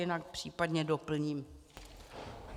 Jinak případně doplním.